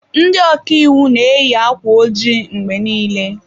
Ndị ọka iwu na-eyi akwa ojii mgbe niile.